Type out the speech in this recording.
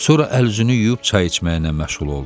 Sonra əl-üzünü yuyub çay içməyinə məşğul oldu.